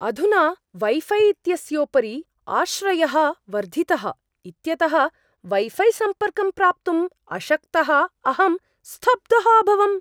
अधुना वैफ़ै इत्यस्योपरि आश्रयः वर्धितः इत्यतः वैफ़ै सम्पर्कं प्राप्तुम् अशक्तः अहं स्तब्धः अभवम्।